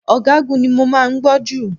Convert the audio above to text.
Ọ̀gágun ni mo máa ń gbọ́ jù.